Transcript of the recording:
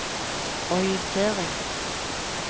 orientering